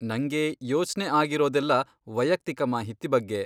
ನಂಗೆ ಯೋಚ್ನೆ ಆಗಿರೋದೆಲ್ಲ ವೈಯಕ್ತಿಕ ಮಾಹಿತಿ ಬಗ್ಗೆ.